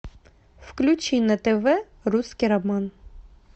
включи на тв русский роман